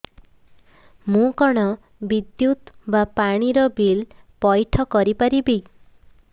ମୁ କଣ ବିଦ୍ୟୁତ ବା ପାଣି ର ବିଲ ପଇଠ କରି ପାରିବି